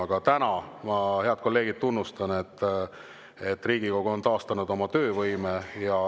Aga täna ma, head kolleegid, tunnustan, et Riigikogu on taastanud oma töövõime.